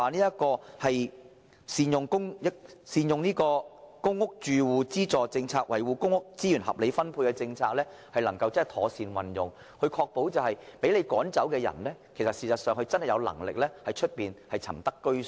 如何善用公屋住戶資助政策，以維護公屋資源合理分配和妥善運用，確保被政府驅趕的租戶確實有能力在外間另覓居所？